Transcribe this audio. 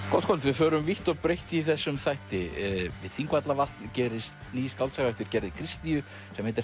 gott kvöld við förum vítt og breitt í þessum þætti við Þingvallavatn gerist ný skáldsaga eftir Gerði Kristnýju sem heitir